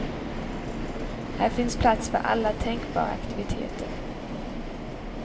Här finns plats för alla tänkbara aktiviteter.